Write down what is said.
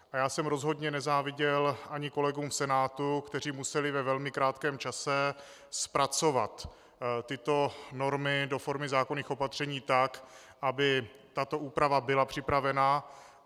A já jsem rozhodně nezáviděl ani kolegům v Senátu, kteří museli ve velmi krátkém čase zpracovat tyto normy do formy zákonných opatření tak, aby tato úprava byla připravena.